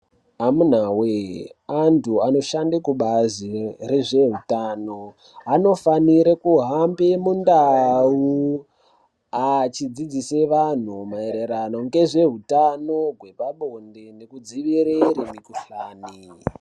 Amuna wee antu ano shande kubazi re zveutano anofanire kuhambe mu ndau achidzidzise vanhu maererano nge zveutano hwepa bonde neku dzivirire mi kuhlani.